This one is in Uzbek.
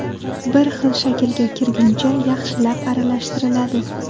Bir xil shaklga kirguncha yaxshilab aralashtiriladi.